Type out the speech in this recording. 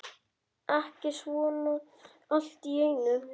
Ekki svona allt í einu.